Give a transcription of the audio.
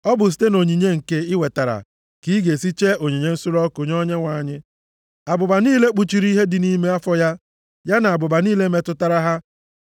Ọ bụ site nʼonyinye nke i wetara ka ị ga-esi chee onyinye nsure ọkụ nye Onyenwe anyị: abụba niile kpuchiri ihe dị nʼime afọ ya na abụba niile metụtara ha,